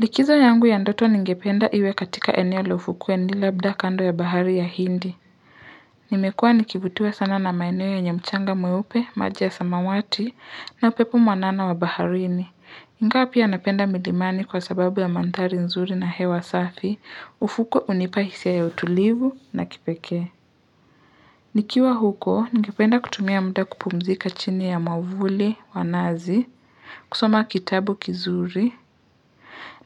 Likizo yangu ya ndoto ningependa iwe katika eneo le ufukueni labda kando ya bahari ya hindi. Nimekua nikivutuiwa sana na maeneo yenye mchanga mweupe, maji ya samawati, na upepo mwanana wa baharini. Ingawa pia napenda milimani kwa sababu ya manthari nzuri na hewa safi, ufuko unipa hisia ya utulivu na kipeke. Nikiwa huko, ningependa kutumia mda kupumzika chini ya mwavuli, wa nazi, kusoma kitabu kizuri,